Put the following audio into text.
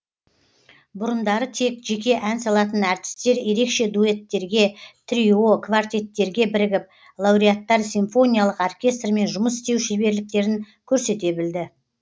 бұрындары тек жеке ән салатын әртістер ерекше дуэттерге трио квартеттерге бірігіп лауреаттар симфониялық оркестрмен жұмыс істеу шеберліктерін көрсете білді